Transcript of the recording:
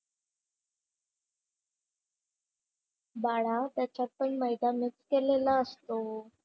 बाळा त्याच्यात पण मैदा मिक्स केलेला असतो.